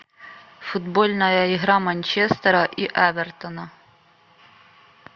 футбольная игра манчестера и эвертона